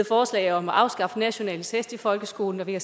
forslag om at afskaffe nationale test i folkeskolen og vi har